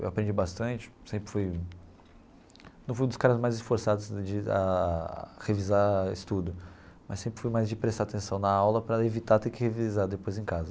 Eu aprendi bastante, sempre fui não fui um dos caras mais esforçados de a revisar estudo, mas sempre fui mais de prestar atenção na aula para evitar ter que revisar depois em casa.